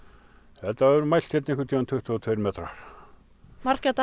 þetta voru mældir einhvern tímann tuttugu og tveir metrar margra daga